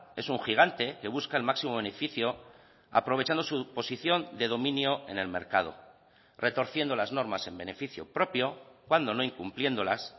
es un gigante que busca el máximo beneficio aprovechando su posición de dominio en el mercado retorciendo las normas en beneficio propio cuando no incumpliéndolas